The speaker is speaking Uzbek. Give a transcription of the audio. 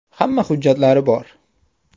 Hamma hujjatlari bor.